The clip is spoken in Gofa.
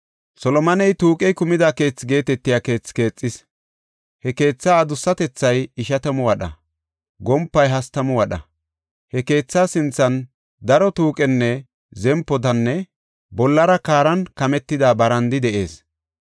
Solomoney, “Tuuqey Kumida Keethi” geetetiya keethi keexis; he keetha adussatethay ishatamu wadha; gompay hastamu wadha. He keetha sinthan daro tuuqen zempidanne bollara kaaran kametida barandi de7ees.